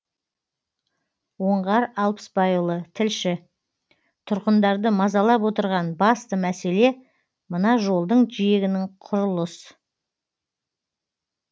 оңғар алпысбайұлы тілші тұрғындарды мазалап отырған басты мәселе мына жолдың жиегінің құрылыс